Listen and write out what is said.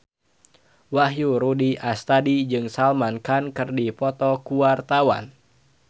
Wahyu Rudi Astadi jeung Salman Khan keur dipoto ku wartawan